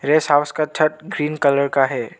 Guest house का छत green colour का है।